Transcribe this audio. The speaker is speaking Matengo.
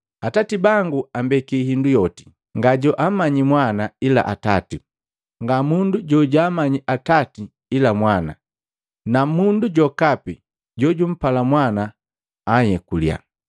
“Atati bangu ambeki indu yoti. Nga jojaamanyi Mwana ila Atati. Ngamundu jojaamanyi Atati ila Mwana na mundu jokapi jojupala Mwana anhyekuliya.”